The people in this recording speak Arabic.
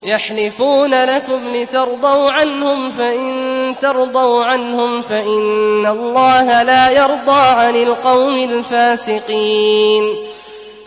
يَحْلِفُونَ لَكُمْ لِتَرْضَوْا عَنْهُمْ ۖ فَإِن تَرْضَوْا عَنْهُمْ فَإِنَّ اللَّهَ لَا يَرْضَىٰ عَنِ الْقَوْمِ الْفَاسِقِينَ